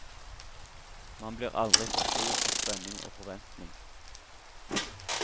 Man blir aldri for stor for spenning og forventning.